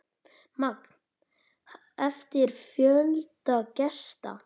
Magn eftir fjölda gesta.